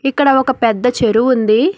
ఇక్కడ ఒక పెద్ద చెరువు ఉంది.